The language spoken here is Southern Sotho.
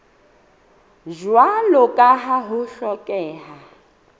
jwalo ka ha ho hlokeha